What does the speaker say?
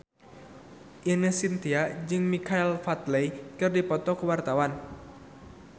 Ine Shintya jeung Michael Flatley keur dipoto ku wartawan